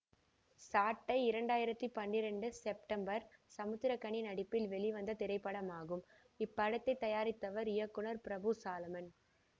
சாட்டை இரண்டு ஆயிரத்தி பன்னிரெண்டு செப்டம்பர் சமுத்திரக்கனி நடிப்பில் வெளிவந்த திரைப்படமாகும் இப்படத்தை தயாரித்தவர் இயக்குனர் பிரபு சாலமன்